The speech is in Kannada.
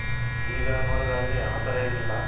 ಈಗ ನೋಡಾದ್ ಆದ್ರೆ ಆ ತರ ಏನು ಇಲ್ಲ